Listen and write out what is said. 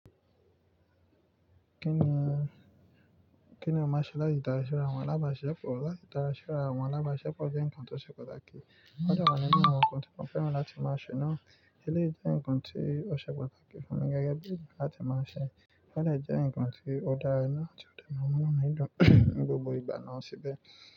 Kí ni, kí ni o má ṣe láti darásí ọrọ àwọn alábàáṣepọ̀? Láti darásí ọrọ àwọn alábàáṣepọ̀ jẹ́ nǹkan tó ṣe pàtàkì. Ó dẹ̀ wà nínú àwọn nǹkan tí mo fẹ́ràn láti máa ṣe náà. Eléyìí jẹ́ nǹkan tí ó ṣe pàtàkì fún mi gẹ́gẹ́ bí ènìyàn láti máa ṣe. Ó dẹ̀ jẹ́ ǹkan tí ó dára náà tí ó dẹ̀ máa múnú mi dùn ní gbogbo ìgbà náà síbẹ̀.